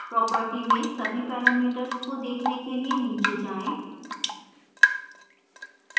property में सभी parameters को देखने के लिए नीचे जाएँ